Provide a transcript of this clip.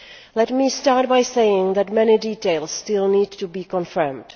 Let me start by saying that many details still need to be confirmed.